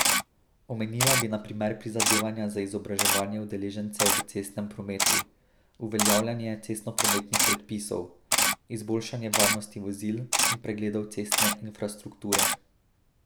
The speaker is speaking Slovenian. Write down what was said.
Omenila bi na primer prizadevanja za izobraževanje udeležencev v cestnem prometu, uveljavljanje cestnoprometnih predpisov, izboljšanje varnosti vozil in pregledov cestne infrastrukture.